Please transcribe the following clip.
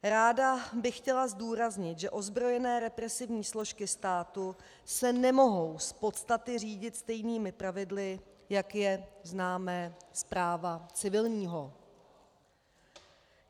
Ráda bych chtěla zdůraznit, že ozbrojené represivní složky státu se nemohou z podstaty řídit stejnými pravidly, jak je známe z práva civilního.